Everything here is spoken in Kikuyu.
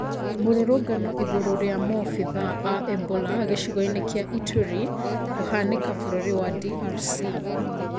Mũrũrũngano igũrũ rĩa mobithaa aa Ebola gĩcigo-inĩ kĩa Ituri kũhanĩka bũrũri wa DRC